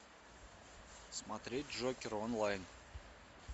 смотреть джокер онлайн